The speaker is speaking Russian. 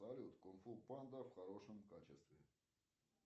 салют кунг фу панда в хорошем качестве